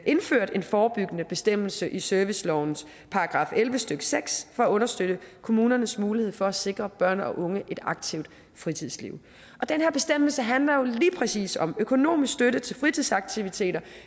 indført en forebyggende bestemmelse i serviceloven § elleve stykke seks for at understøtte kommunernes mulighed for at sikre børn og unge et aktivt fritidsliv den her bestemmelse handler jo lige præcis om økonomisk støtte til fritidsaktiviteter